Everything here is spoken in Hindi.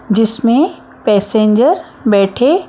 जिसमें पैसेंजर बैठे--